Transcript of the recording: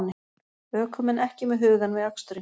Ökumenn ekki með hugann við aksturinn